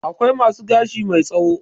Akwai masu gashi mai tsawo.